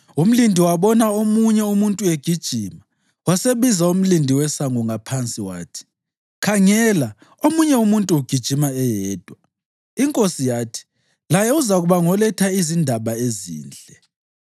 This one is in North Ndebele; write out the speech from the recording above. Umlindi wabona omunye umuntu egijima, wasebiza umlindi wesango ngaphansi, wathi, “Khangela, omunye umuntu ugijima eyedwa!” Inkosi yathi, “Laye uzakuba ngoletha izindaba ezinhle.”